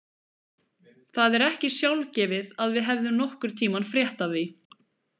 Það er ekki sjálfgefið að við hefðum nokkurn tímann frétt af því.